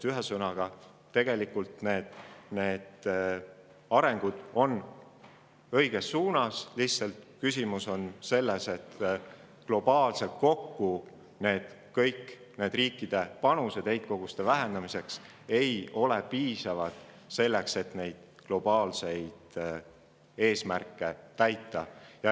Ühesõnaga, kuigi areng liigub õiges suunas, on küsimus selles, et kõikide riikide panused kokku heitkoguste vähendamiseks ei ole olnud piisavad selleks, et globaalseid eesmärke täita.